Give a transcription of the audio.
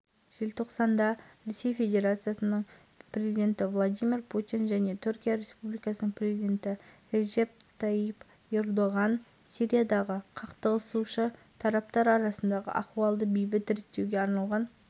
өз кезегінде мемлекет басшысы сирия дағдарысын реттеу тек бейбіт жолмен жүргізілуге тиіс екенін атап өтіп алдағы уақытта да бұл үдеріске жан-жақты